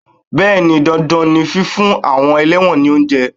Bẹẹni, dandan ni fífún àwọn ẹlẹ́wọ̀n ni oúnjẹ.